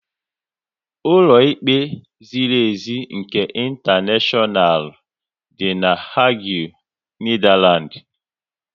Ụlọ ikpe ziri ezi nke intaneshonal dị na Hague, Netherlands